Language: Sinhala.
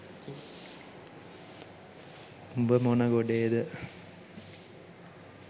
උබ මොන ගොඩේද